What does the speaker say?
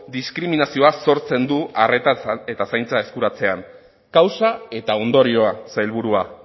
diskriminazioa sortzen du arreta eta zaintza eskuratzean kausa eta ondorioa sailburua